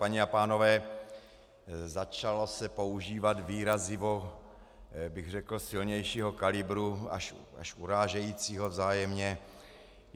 Paní a pánové, začalo se používat výrazivo, bych řekl, silnějšího kalibru, až urážejícího vzájemně.